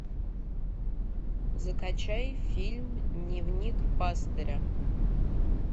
закачай фильм дневник пастыря